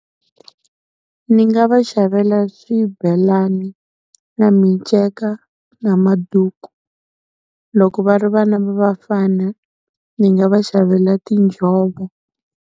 Ni nga va xavela swibelani na minceka na maduku, loko va ri vana va vafana ni nga va xavela tinjhovo.